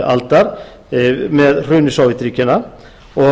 aldar með hruni sovétríkjanna og